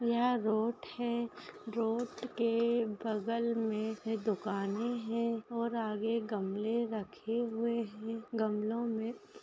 यह रोड है रोड के बगल मे दुकाने हैं और आगे गमले रखे हुए हैं गमलों में--